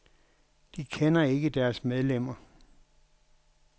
De kender ikke deres medlemmer.